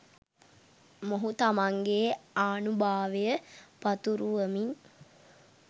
මොහු තමන්ගේ ආනුභාවය පතුරුවමින්